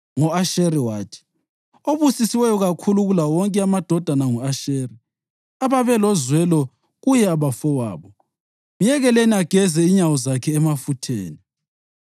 Ngo-Asheri wathi: “Obusisiweyo kakhulu kulawo wonke amadodana ngu-Asheri; ababelozwelo kuye abafowabo, myekeleni ageze inyawo zakhe emafutheni.